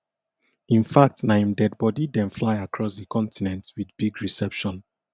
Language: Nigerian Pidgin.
in fact na im dead body dem fly across di continent wit big reception